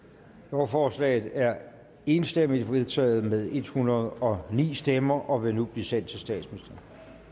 lovforslaget er enstemmigt vedtaget med en hundrede og ni stemmer og vil nu blive sendt til